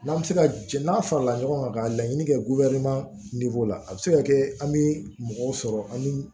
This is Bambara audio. N'an bɛ se ka jɛ n'a farala ɲɔgɔn kan ka laɲini kɛ la a bɛ se ka kɛ an bɛ mɔgɔw sɔrɔ an bɛ